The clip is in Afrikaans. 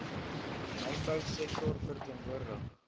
mynbou sektor verteenwoordig